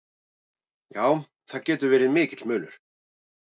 Já, það getur verið mikill munur.